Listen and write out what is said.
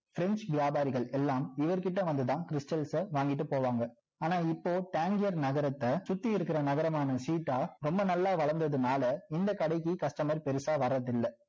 french வியாபரிகள் எல்லாம் இவர் கிட்ட வந்து தான் stals ச வாங்கிட்டு போவாங்க ஆனா இப்போ tangier நகரத்த சுற்றி இருக்கிற நகரமான ஷிடா ரொம்ப நல்லா வளந்ததுனால இந்த கடைக்கு பெருசா வரது இல்ல